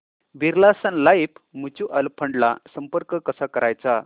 Birla Sun Life mutual fund ला संपर्क कसा करायचा